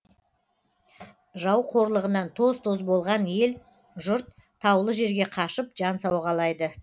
жау қорлығынан тоз тоз болған ел жұрт таулы жерге қашып жан сауғалайды